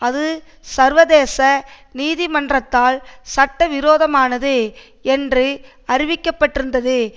அது சர்வதேச நீதிமன்றத்தால் சட்ட விரோதமானது என்று அறிவிக்க பட்டிருந்தது